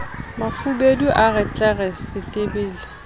mafubedu a re tlere setebele